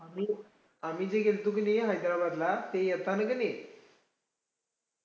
आम्ही, आम्ही जे गेल्तो किनई हैदराबादला ते आत्ता आम्ही किनई,